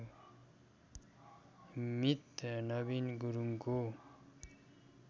मित नबिन गुरुङको